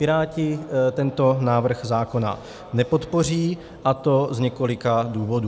Piráti tento návrh zákona nepodpoří, a to z několika důvodů.